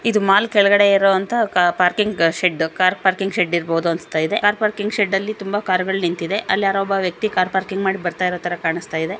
ಇದು ಮಾಲ್ ಕೆಳಗಡೆ ಇರುವಂತ ಕಾರ್ನ ಪಾರ್ಕಿಂಗ್ ಶೆಡ್ಡು ಇರಬಹುದು ಅನಿಸ್ತಾ ಇದೆ. ಕಾರ್ ಪಾರ್ಕಿಂಗ್ ಶೆಡ್ಡು ಅಲ್ಲಿ ತುಂಬ ಕಾರ್ ಗಳು ನಿಂತಿದೆ. ಅಲ್ಲಿ ಯಾರೋ ಒಬ್ಬ ವ್ಯಕ್ತಿ ಕಾರ್ ಪಾರ್ಕಿಂಗ್ ಮಾಡಿ ಬರ್ತಾ ಇರೋತರ ಕಾಣಸ್ತಾಯಿದೆ.